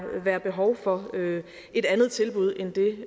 være behov for et andet tilbud end det